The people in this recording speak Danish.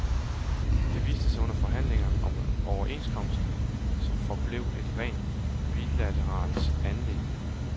Det viste sig under forhandlingerne om overenskomsten, som forblev et rent bilateralt anliggende.